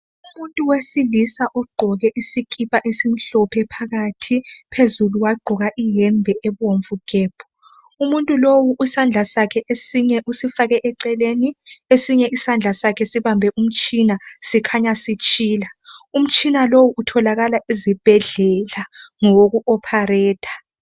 Umuntu wesilisa ogqoke isikipa esimhlophe phakathi phezulu wagqoka iyembe ebomvu gebhu umuntu lowu isandla sakhe esinye usifake eceleni esinye isandla sakhe sibambe umtshina sikhanya sitshila umtshina lowu utholakala ezibhedlela ngowokuhlinza.